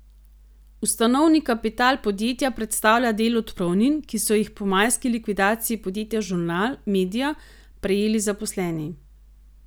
Ustanovni kapital podjetja predstavlja del odpravnin, ki so jih po majski likvidaciji podjetja Žurnal media prejeli zaposleni.